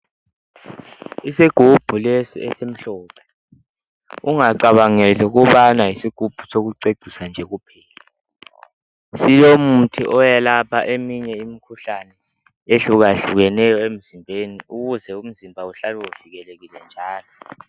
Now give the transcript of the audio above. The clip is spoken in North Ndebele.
Isigubhu lesi esimhlophe, ungacabangeli ukubana yisigubhu sokucecisa nje kuphela. Silomuthi oyelapha eminye imikhuhlane ehlukahlukeneyo emzimbeni. Ukuze umzimba uhlale uvikelekile njalo.